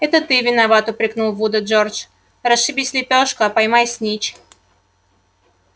это ты виноват упрекнул вуда джордж расшибись в лепёшку а поймай снитч